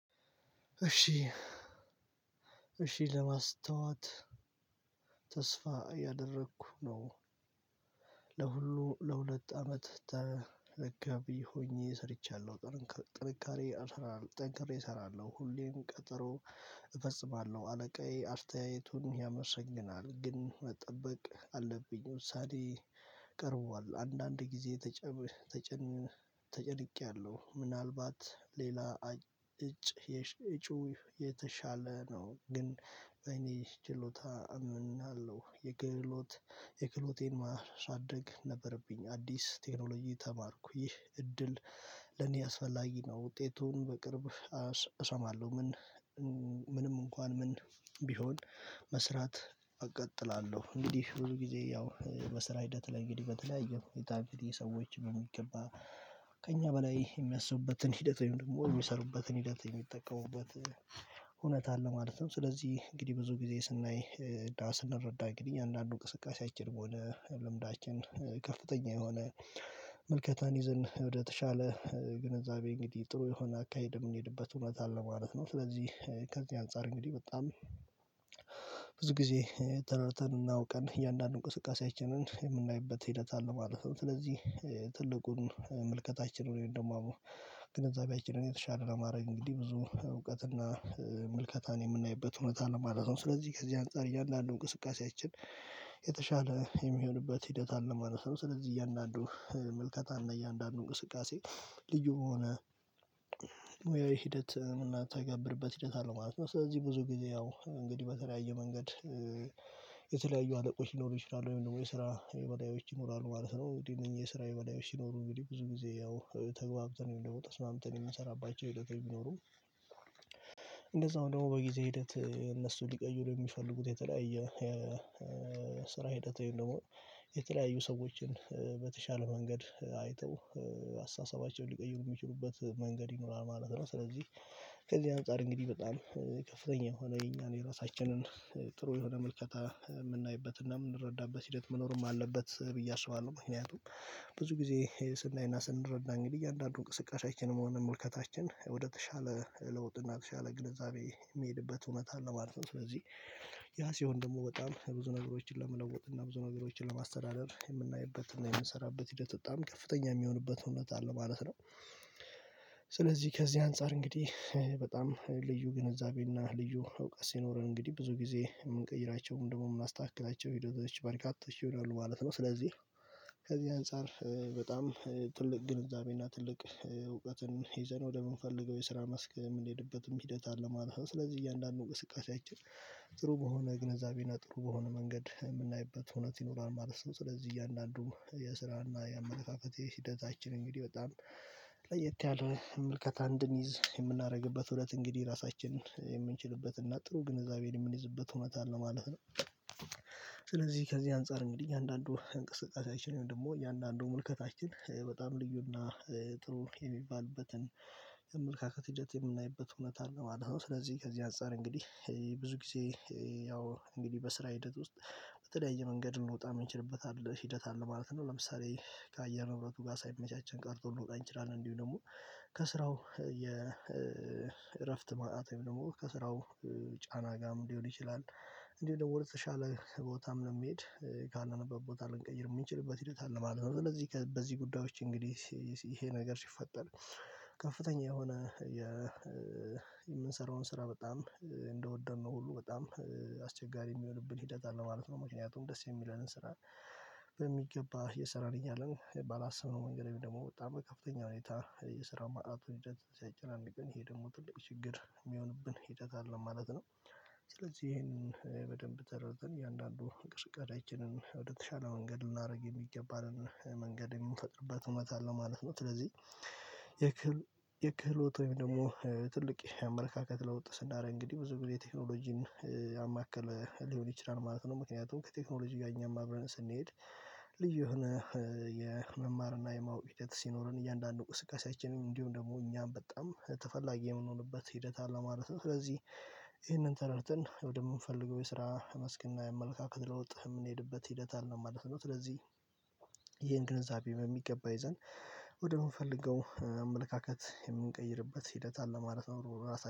እሺ እሺ ለማስታወት ተስፋ እያደረኩ ነው። ለሁሉ ለሁለት አመት ተረጋቢ ሆኜ ሰርቻለሁ። ጥንካሬ ጠንክሬ እሰራለሁ ሁሌም ቀጠሮ እፈጽማለሁ አለቃዬ አስተያየቱን ያመሰግናል። ግን መጠበቅ አለብኝ ሰዓቴ ቀርቧል። አንዳንድ ጊዜ። ተጨንቄያለሁ ምናልባት ሌላ እጩ የተሻለ ነው። ግን አይኔ ችሎታ አምናለሁ። የክህሎት የክሎቴን ማር ሳደግ ነበረብኝ። አዲስ ቴክኖሎጂ ተማርኩ ይህ እድል ለኔ አስፈላጊ ነው። ውጤቱን በቅርብ እሰማለሁ። ምን ምንም እንኳን ምን ቢሆን መስራት እቀጥላለሁ። እንግዲህ ብዙ ጊዜ ያው በስራ ሂደት ላይ እንግዲህ በተለያዩ ሁኔታ እንግዲህ ሰዎች በሚገባ ከእኛ በላይ የሚያስቡበትን ሂደት ወይም ደግሞ የሚሰሩበትን ሂደት የሚጠቀሙበት እውነት አለ ማለት ነው። ስለዚህ እንግዲህ ብዙ ጊዜ ስናይና ስናረዳ እንግዲህ አንዳንዱ እንቅስቃሴያችን በሆነ ልምዳችን ከፍተኛ የሆነ ምልከታን ይዘን ወደተሻለ ግንዛቤ እንግዲህ ጥሩ የሆነ አካሄድ የምንሄድበት እውነት አለ ማለት ነው። ስለዚህ ከዚህ አንፃር እንግዲህ በጣም ብዙ ጊዜ ተረድተን እና አውቀን እያንዳንዱን እንቅስቃሴያችንን የምናይበት ሂደት አለ ማለት ነው። ስለዚህ ትልቁን ምልከታችን ወይም ደግሞ ግንዛቤችንን የተሻለ ለማድረግ እንግዲህ ብዙ እውቀትና ምልከታን የምናይበት እውነት አለ ማለት ነው። ስለዚህ ከዚህ አንፃር እያንዳንዱ እንቅስቃሴያችን የተሻለ የሚሆንበት ሂደት አለ ማለት ነው። ስለዚህ እያንዳንዱ ምልከታ እና እያንዳንዱ እንቅስቃሴ ልዩ በሆነ ሙያዊ ሂደት ምናተገብርበት ሂደት አለው ማለት ነው። ስለዚህ ብዙ ጊዜ ያው እንግዲህ በተለያየ መንገድ የተለያዩ አለቆች ሊኖሩ ይችላሉ ወይም ደግሞ የስራ የበላዮች ይኖራሉ ማለት ነው። እንግዲህ እነኚህ የስራ የበላዮች ሲኖሩ እንግዲህ ብዙ ጊዜ ያው ተግባብተን ወይም ደግሞ ተስማምተን የምንሰራባቸው ህደት የሚኖሩ። እንደዛውም ደግሞ በጊዜ ሂደት እነሱ ሊቀይሩ የሚፈልጉት የተለያየ ስራ ሂደት ወይም ደግሞ የተለያዩ ሰዎችን በተሻለ መንገድ አይተው አስተሳሰባቸውን ሊቀይሩ የሚችሉበት መንገድ ይኖራል ማለት ነው። ስለዚህ ከዚህ አንፃር እንግዲህ በጣም ከፍተኛ የሆነ የኛን የራሳችንን ጥሩ የሆነ መልከታ የምናይበትና የምንረዳበት ሂደት መኖርም አለበት ብዬ አስባለሁ። ምክንያቱም ብዙ ጊዜ ስናይና ስንረዳ እንግዲህ አንዳንዱ እንቅስቃሴያችንም ሆነ ምልከታችን ወደተሻለ ለውጥ እና የተሻለ ግንዛቤ የሚሄድበት እውነት አለ ማለት ነው። ስለዚህ ያ ሲሆን ደግሞ በጣም ብዙ ነገሮችን ለመለወጥ እና ብዙ ነገሮችን ለማስተዳደር የምናይበት እና የምንሰራበት ሂደት በጣም ከፍተኛ የሚሆንበት እውነት አለ ማለት ነው። ስለዚህ ከዚህ አንፃር እንግዲህ በጣም ልዩ ግንዛቤና ልዩ እውቀት ሲኖረን እንግዲህ ብዙ ጊዜ የምንቀይራቸው ወይም ደግሞ የምናስተካክላቸው ሂደቶች በርካቶች ይሆናሉ ማለት ነው። ስለዚህ ከዚህ አንፃር በጣም ትልቅ ግንዛቤና ትልቅ እውቀትን ይዘን ወደምንፈልገው የስራ መስክ የምንሄድበትም ሂደት አለ ማለት ነው። ስለዚህ እያንዳንዱን እውቀት እቃችን ጥሩ በሆነ ግንዛቤና ጥሩ በሆነ መንገድ ምናይበት የመጋፈጥ ሂደታችን እንግዲህ በጣም ለየት ያለ አንድ እንድንይዝ የምናደርግበት እውነት እንግዲህ ራሳችንን የምንችልበት እና ጥሩ ግንዛቤን የምንይዝበት እውነት አለ ማለት ነው። ስለዚህ ከዚህ አንፃር እንግዲህ አንዳንዱ እንቅስቃሴያችን ወይም ደግሞ እያንዳንዱ ሙልከታችን በጣም ልዩና ጥሩ የሚባልበትን ያመልካከት ሂደት የምናይበት እውነት አለ ማለት ነው። ስለዚህ ከዚህ አንፃር እንግዲህ ብዙ ጊዜ ያው እንግዲህ በስራ ሂደት ውስጥ በተለያየ መንገድ ልንወጣ የምንችልበት አለ ህደት አለ ማለት ነው። ለምሳሌ ከአየር ንብረቱ ጋር ሳይመቻቸን ቀርቶ ልንወጣ እንችላለን። እንዲሁም ደግሞ ከስራው የእረፍት ማጣት ወይም ደግሞ ከስራው ጫና ጋርም ሊሆን ይችላል። እንዲሁ ደግሞ ወደ ተሻለ ቦታም ለየሚሄድ ካለንበት ቦታ ልንቀይር የሚችልበት ሂደት አለ ማለት ነው። እነዚህ በዚህ ጉዳዮች እንግዲህ ይሄ ነገር ሲፈጠር ከፍተኛ የሆነ የምንሰራውን ስራ በጣም እንደወደድነው ሁሉ በጣም አስቸጋሪ የሚሆንብን ሂደት አለ ማለት ነው። ምክንያቱም ደስ የሚለንን ስራ በሚገባ የሰራነኛልን ባላስብነው መንገድ ወይንም ደግሞ በጣም ከፍተኛ ሁኔታ የስራ ማጣት ሂደት ሲያጨናንቅን ይሄ ደግሞ ትልቅ ችግር የሚሆንብን ሂደት አለ ማለት ነው። ስለዚህ ይሄንን በደንብ ተረድተን እያንዳንዱ እንቅስቃሴያችንን ወደተሻለ መንገድ ልናደርግ የሚገባንን መንገድ የምንፈጥርበት ሁኔታ አለ ማለት ነው። ስለዚህ የክህሎት ወይም ደግሞ ትልቅ አመለካከት ለውጥ ስናደርግ እንግዲህ ብዙ ጊዜ ቴክኖሎጂን ያማከለ ሊሆን ይችላል ማለት ነው። ምክንያቱም ከቴክኖሎጂ ጋር እኛም አብረን ስንሄድ ልዩ የሆነ የመማር እና የማወቅ ሂደት ሲኖረን እያንዳንዱ እንቅስቀሳችንን እንዲሁም ደግሞ እኛም በጣም ተፈላጊ የምንሆንበት ሂደት አለ ማለት ነው። ስለዚህ ይሄንን ተረድተን ወደምንፈልገው የስራ መስክና የአመልካከት ለውጥ የምንሄድበት ሂደት አለ ማለት ነው። ስለዚህ ይሄን ግንዛቤ በሚገባ ይዘን ወደምንፈልገው አመለካከት የምንቀይርበት ሂደት አለ ማለት ነው። ራሳችንን